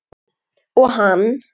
Og hann.